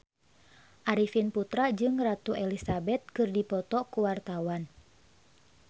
Arifin Putra jeung Ratu Elizabeth keur dipoto ku wartawan